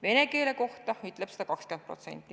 Vene keele kohta ütleb seda 20%.